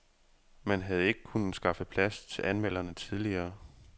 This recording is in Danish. Man havde ikke kunnet skaffe plads til anmelderne tidligere.